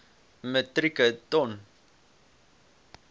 metrieke ton